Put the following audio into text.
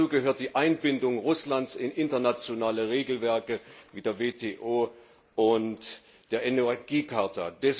Und hierzu gehört die Einbindung Russlands in internationale Regelwerke wie die WTO und die Energiecharta.